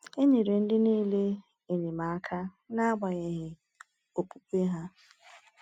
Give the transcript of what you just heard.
E nyere ndị niile enyemaka, n’agbanyeghị okpukpe ha.